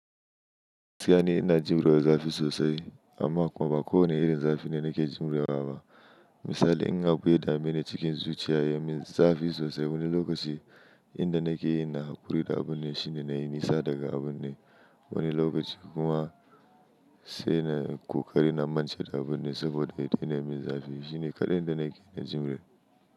Gaskiya ni ina jimre zafi sosai, amma kuma ba kowane irin zafi ne nake jimre wa ba. Misali, in abu ya dame ni cikin zuciya ya min zafi sosai wani lokaci, inda nake yin na haƙuri da abun ne shine na yi nisa daga abun ne wani lokaci kuma, sai na ƙoƙari na mance da abun ne, saboda ya daina min zafi, shine kaɗai inda nake jimre.